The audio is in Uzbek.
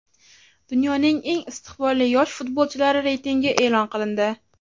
Dunyoning eng istiqbolli yosh futbolchilari reytingi e’lon qilindi.